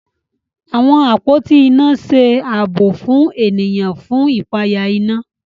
Àwọn àpótí iná ṣe ààbò fún ènìyàn fún ipaya iná